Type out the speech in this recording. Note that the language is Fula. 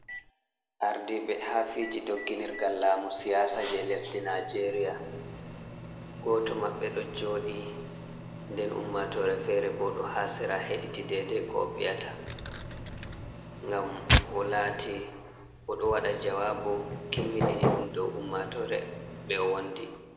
Ardiɓe ha fiji dogginirgal lamu siyasa je lesdi nijeria. Goto maɓɓe ɗo joɗi nden ummatore fere bo ɗo ha sera heɗiti dede ko oviyata ngam olati oɗo waɗa jawabu kimmiɗini ɗum dow ummatore ɓe owondi.